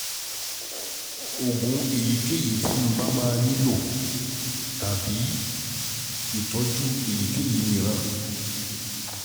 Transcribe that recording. Oògùn èyíkéyìí tí mo bá tí mo bá nílò tàbí um ìtọ́jú èyíkéyìí mìíràn